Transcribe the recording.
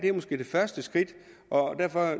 er måske det første skridt og